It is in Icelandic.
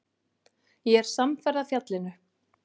Ég er samferða fjallinu